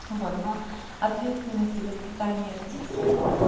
вот но ответственности воспитания родителей